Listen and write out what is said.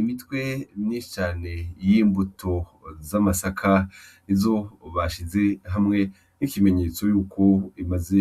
Imitwe myinshi cane y'imbuto z'amasaka izo bashize hamwe nk'ikimenyetso yuko imaze